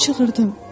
Mən çığırdım.